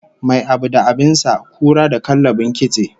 Mai abu da abin sa, kura da kallabin kitse